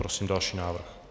Prosím další návrh.